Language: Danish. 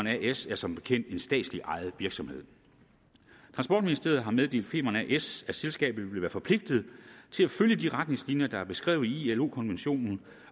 as er som bekendt en statslig ejet virksomhed transportministeriet har meddelt femern as at selskabet vil være forpligtet til at følge de retningslinjer der er beskrevet i ilo konventionen